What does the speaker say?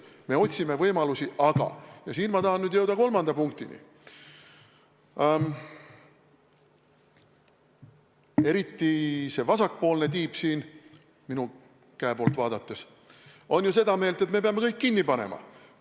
Me otsime võimalusi, aga – ja siin ma tahan nüüd jõuda kolmanda punktini – eriti see vasakpoolne tiib siin minu poolt vaadates on ju seda meelt, et me peame kõik kinni panema.